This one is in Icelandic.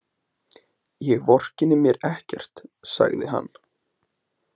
Ég vorkenni mér ekkert, sagði hann.